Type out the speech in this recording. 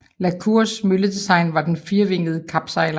La Cours mølledesign var den firevingede klapsejler